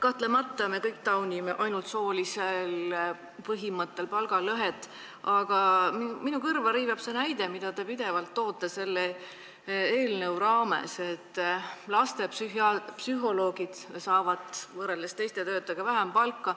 Kahtlemata me kõik taunime ainult soolisel põhimõttel tekkinud palgalõhet, aga minu kõrva riivab see näide, mida te pidevalt toote selle eelnõu raames, et lastepsühholoogid saavad võrreldes teiste töötajatega vähem palka.